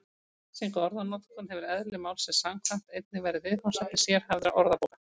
Lýsing á orðanotkun hefur eðli málsins samkvæmt einnig verið viðfangsefni sérhæfðra orðabóka.